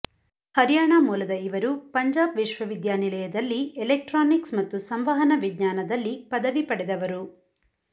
ಹರ್ಯಾಣ ಮೂಲದ ಇವರು ಪಂಜಾಬ್ ವಿಶ್ವವಿದ್ಯಾನಿಲಯದಲ್ಲಿ ಎಲೆಕ್ಟ್ರಾನಿಕ್ಸ್ ಮತ್ತು ಸಂವಹನ ವಿಜ್ಞಾನದಲ್ಲಿ ಪದವಿ ಪಡೆದವರು